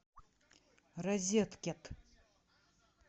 розет кет